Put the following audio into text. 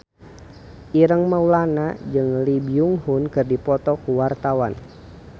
Ireng Maulana jeung Lee Byung Hun keur dipoto ku wartawan